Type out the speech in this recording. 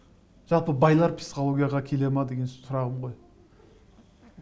жалпы байлар психологияға келе ме деген сұрағым ғой